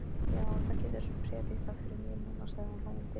Já, þú getur prédikað yfir mér núna, sagði hún hlæjandi.